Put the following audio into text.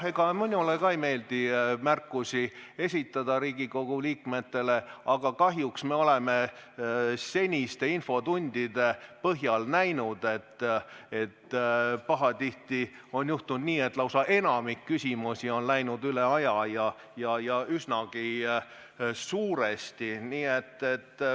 Ega minule ka ei meeldi Riigikogu liikmetele märkusi esitada, aga kahjuks oleme senistes infotundides näinud, et pahatihti on juhtunud nii, et lausa enamik küsimusi on läinud üle aja ja üsnagi suuresti.